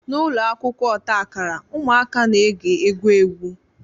N'ụlọ akwụkwọ ọta akara, ụmụaka na-ege egwu egwu